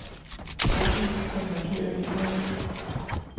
Åbn den markerede e-mail.